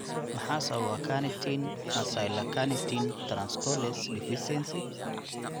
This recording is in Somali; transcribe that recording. Maxaa sababa carnitine acylcarnitine translocase deficiency?